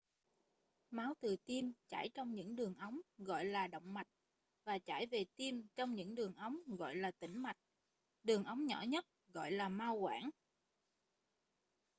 máu từ tim chảy trong những đường ống gọi là động mạch và chảy về tim trong những đường ống gọi là tĩnh mạch đường ống nhỏ nhất gọi là mao quản